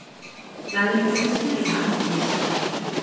Lægri greiðslur í atvinnuleysisbætur